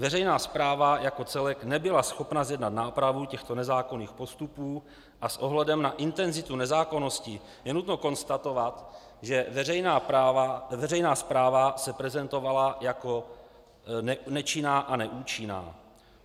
Veřejná správa jako celek nebyla schopna zjednat nápravu těchto nezákonných postupů a s ohledem na intenzitu nezákonností je nutno konstatovat, že veřejná správa se prezentovala jako nečinná a neúčinná.